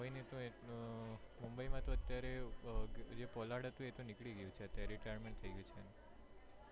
મુંબઈ માં તો અત્યારે જે હતો pollard એ તો નીકળી ગયો છે અત્યારે retirement થયી ગયું છે.